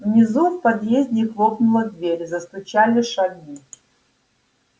внизу в подъезде хлопнула дверь застучали шаги